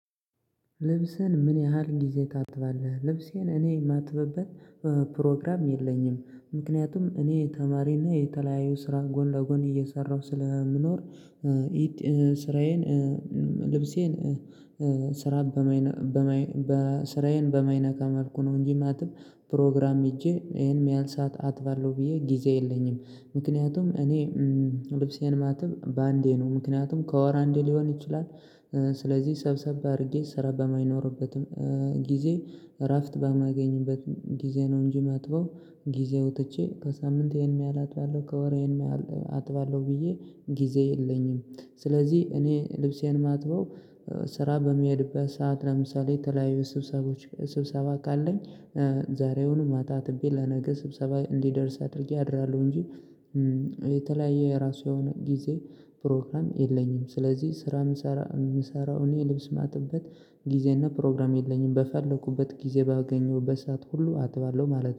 ልብስህን ምን ያህል ጊዜ ታጥባለህ? ልብሴን እኔ የማጥበበት ፕሮግራም የለኝም። ምክንያቱም እኔ ተማሪና የተለያዩ ስራ ጎን ለጎን እየሰራሁ ስለምኖር ስራዬን። ልብሴን ስራ በማይነካ መልኩ ነው እንጂ ማጥብ ፕሮግራም ሄጄ ይሄን የሚያልሳት አትባለው ብዬ ጊዜ የለኝም። ምክንያቱም እኔ ልብሴን የማጥብ በአንዴ ነው ምክንያቱም ከወር አንዴ ሊሆን ይችላል። ስለዚህ ሰብሰብ አድርጌ ስራ በማይኖርበትም ጊዜ እራፍት በማገኝበትም ጊዜ ነው። እንጂ ማጥበው ጊዜ ወጥቼ ከሳምንት ይሄን ያህል አጥባለሁ ከወሬ ይሄን አጥባለሁ ብዬ ጊዜ የለኝም። ስለዚህ እኔ ልብሴን ማጥበው ስራ በሚሄድበት ሰዓት ለምሳሌ የተለያዩ ስብሰቦች ስብሰባ ካለኝ ዛሬውን ማታ አትቤ ለነገ ስብሰባ እንዲደርስ አድርጌ አድራለሁ እንጂ። የተለያየ የራሱ የሆነ ጊዜ ፕሮግራም የለኝም። ስለዚህ ስራ የምሰራው እኔ ልብስ ማጥበት ጊዜና ፕሮግራም የለኝም በፈለኩበት ጊዜ ባገኘሁበት ሰዓት ሁሉ አጥባለሁ ማለት ነው